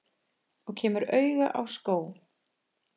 Og kemur auga á skó.